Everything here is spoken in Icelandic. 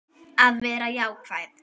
Að vera jákvæð.